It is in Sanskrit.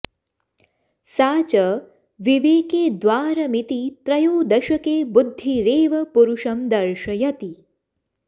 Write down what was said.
सा च विवेके द्वारमिति त्रयोदशके बुद्धिरेव पुरुषं दर्शयति